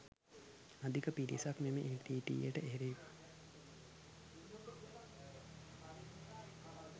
අධික පිරිසක් මෙම එල්ටීටීය ට එරෙහිව